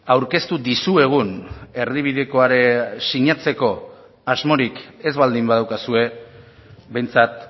aurkeztu dizuegun erdibidekoa sinatzeko asmorik ez baldin badaukazue behintzat